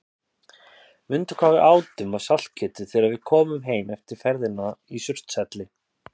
Mundu hvað við átum af saltkjöti þegar við komum heim eftir ferðina í Surtshelli.